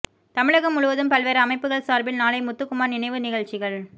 தமிழகம் முழுவதும் பல்வேறு அமைப்புகள் சார்பில் நாளை முத்துக்குமார் நினைவு நிகழ்ச்சிகள்